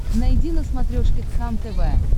найди на смотрешке кхлм тв